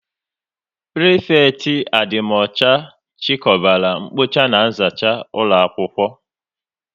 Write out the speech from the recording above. Prịfekịtị adịmọcha chikọbara mkpocha na nzacha ụlọakwụkwọ